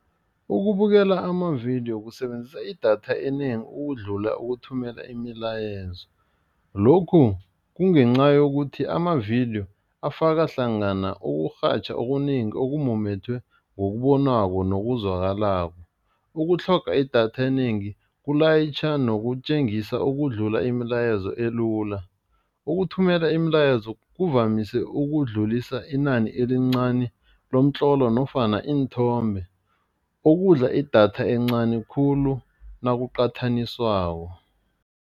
Ukubukela amavidiyo kusebenzisa idatha enengi ukudlula ukuthumela imilayezo lokhu kungenca yokuthi, amavidiyo afaka hlangana ukurhatjha okunengi okumumethwe ngokubonwako nokuzwakalako, ukutlhoga idatha enengi kulayitjha nokutjengisa ukudlula imilayezo elula. Ukuthumela imilayezo kuvamise ukudlulisa inani elincani lomtlolo nofana iinthombe, ukudla idatha encani khulu nokuqathaniswako.